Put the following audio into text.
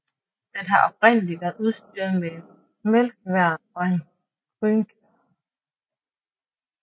Den har oprindelig været udstyret med en melkværn og en grynkværn